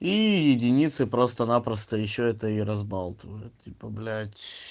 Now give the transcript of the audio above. единицы просто-напросто ещё это и разболтает типа блять